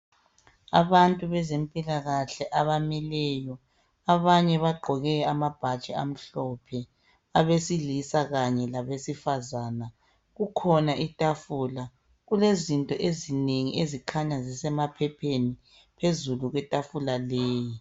Abantu bezempilakahle abamileyo, abanye bagqoke amabhatshi amhlophe, abesilisa kanye labesifazane. Kukhona itafula. Kulezinto ezinengi ezikhanya zisemaphepheni phezulu kwetafula leyi.